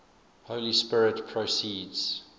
holy spirit proceeds